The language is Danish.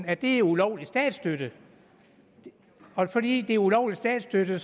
at det er ulovlig statsstøtte og fordi det er ulovlig statsstøtte